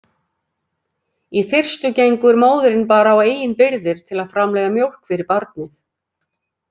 Í fyrstu gengur móðirin bara á eigin birgðir til að framleiða mjólk fyrir barnið.